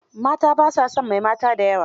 Mata ba sa son mai mata da yawa.